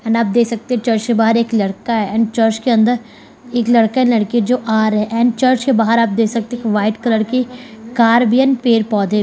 and आप देख सकते है चर्च के बाहर एक लड़का है एंड चर्च के अंदर एक लड़का एंड लड़की है जो आ रहे हैं एंड चर्च के बाहर आप देख सकते हैं एक वाइट कलर की कार भी एंड पेड़-पौधे --